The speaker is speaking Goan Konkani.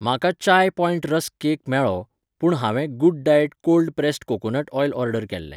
म्हाका चाय पॉयंट रस्क केक मेळ्ळो, पूण हांवें Good Diet cold pressed coconut oil order केल्लें.